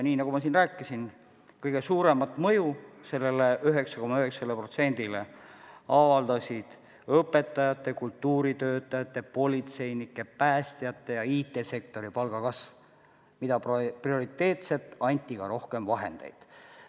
Nii nagu ma siin rääkisin, kõige suuremat mõju sellele 9,9%-le avaldas õpetajate, kultuuritöötajate, politseinike, päästjate ja IT-sektori palkade kasv, milleks prioriteetselt anti ka rohkem vahendeid.